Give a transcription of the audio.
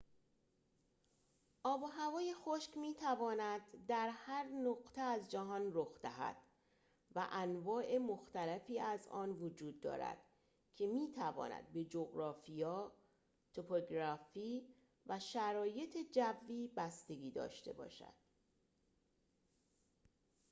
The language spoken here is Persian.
آب و هوای خشک می تواند در هر نقطه از جهان رخ دهد و انواع مختلفی از آن وجود دارد که می تواند به جغرافیا توپوگرافی و شرایط جوی بستگی داشته باشد